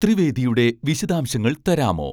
ത്രിവേദിയുടെ വിശദാംശങ്ങൾ തരാമോ